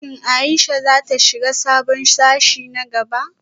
Shin Ayesha za ta shiga sabon sashe na gaba?